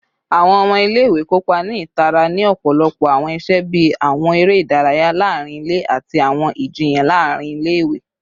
Awọn ọmọ ile-iwe kopa ni itara ni ọpọlọpọ awọn iṣe bii awọn ere idaraya laarin ile ati awọn ijiyan laarin ile-iwe